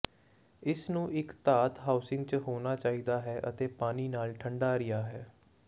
ਇਸ ਨੂੰ ਇੱਕ ਧਾਤ ਹਾਊਸਿੰਗ ਚ ਹੋਣਾ ਚਾਹੀਦਾ ਹੈ ਅਤੇ ਪਾਣੀ ਨਾਲ ਠੰਢਾ ਰਿਹਾ ਹੈ